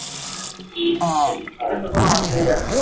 সেদিক থেকে তো কোনো অসুবিধা নেই